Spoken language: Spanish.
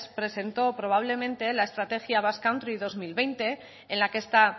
presentó probablemente la estrategia basque country dos mil veinte en la que está